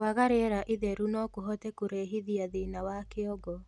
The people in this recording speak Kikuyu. Kwaga rĩera itheru nokũhote kũrehithia thĩna wa kĩongo